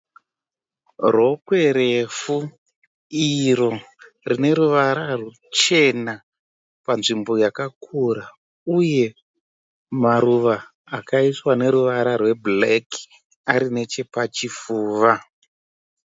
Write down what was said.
Rokwe refu iro rine ruvara ruchena panzvimbo yakakura uye maruva akaiswa neruvara rwebhureki ari nechepachifuva.